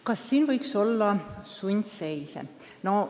Kas meil võiks olla sundseise?